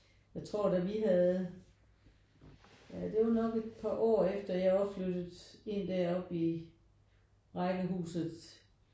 Jeg tror da vi havde ja det er jo nok et par år efter jeg var flyttet ind derop i rækkehuset